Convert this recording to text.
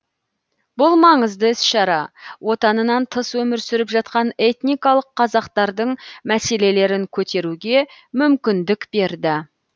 бұл маңызды іс шара отанынан тыс өмір сүріп жатқан этникалық қазақтардың мәселелерін көтеруге мүмкіндік берді